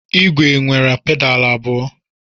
Igwe nwere pedalu abụọ.